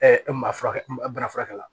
e maa fura bana furakɛ la